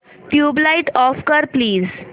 tubelight off कर please